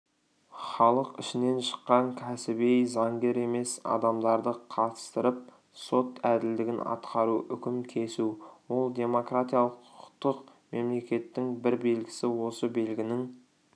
халық ішінен шыққан кәсіби заңгер емес адамдарды қатыстырып сот әділдігін атқару үкім кесу ол демократиялық құқықтық мемлекеттің бір белгісі осы белгінің